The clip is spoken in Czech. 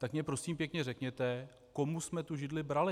Tak mi prosím pěkně řekněte, komu jsme tu židli brali?